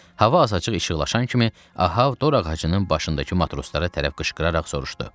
Hava azacıq işıqlaşan kimi, Ahab dorağacının başındakı matroslara tərəf qışqıraraq soruşdu: